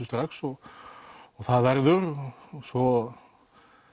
strax og það verður og svo